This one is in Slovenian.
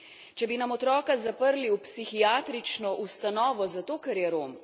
Če bi nam otroka zaprli v psihiatrično ustanovo zato, ker je Rom.